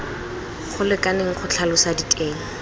go lekaneng go tlhalosa diteng